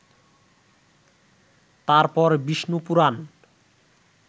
তার পর বিষ্ণুপুরাণ